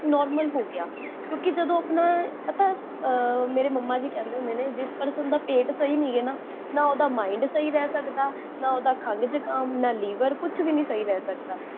normal ਹੋਗਿਆ ਹੈ ਕਿਓਂਕਿ ਜਦੋਂ ਆਪਣਾ, ਪਤਾ ਮੇਰੇ ਮੁਮ੍ਮਾ ਜੀ ਕਹੰਦੇ ਹੁੰਦੇ ਨੇ, ਜਿਸ person ਦਾ ਪੇਟ ਸਹੀ ਨੀ ਨਾ, ਨਾ ਓਦਾ mind ਸਹੀ ਰਹ ਸਕਦਾ, ਨਾ ਓਦਾ ਖਾਂਸੀ, ਜੁਖਾਮ, ਨਾ ਲੀਵਰ, ਕੁਛ ਵੀ ਨੀ ਸਹੀ ਰਹ ਸਕਦਾ